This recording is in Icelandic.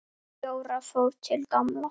Jóra fór til Gamla.